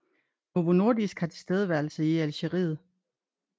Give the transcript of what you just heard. Novo Nordisk har tilstedeværelse i Algeriet